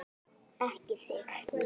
Ekki þig!